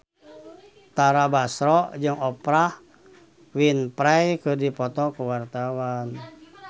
Tara Basro jeung Oprah Winfrey keur dipoto ku wartawan